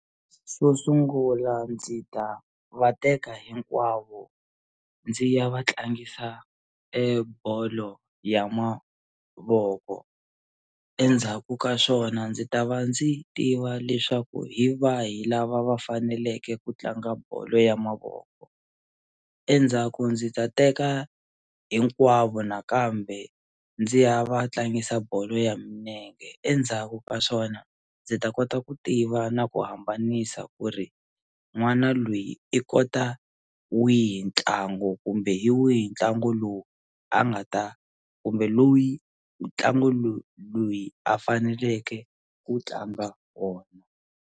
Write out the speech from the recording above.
Xo sungula ndzi ta va teka hinkwavo ndzi ya va tlangisa e bolo ya mavoko endzhaku ka swona ndzi ta va ndzi tiva leswaku hi vahi lava va faneleke ku tlanga bolo ya mavoko endzhaku ndzi ta teka hinkwavo nakambe ndzi ya va tlangisa bolo ya minenge endzhaku ka swona ndzi ta kota ku tiva na ku hambanisa ku ri n'wana loyi i kota wihi ntlangu kumbe hi wihi ntlangu lowu a nga ta kumbe loyi ntlangu loyi a faneleke ku tlanga wona.